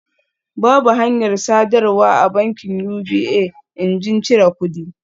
Babu hanyar sadarwa a bankin UBA injin cire kudi